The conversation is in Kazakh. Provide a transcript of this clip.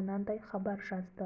берілді дейді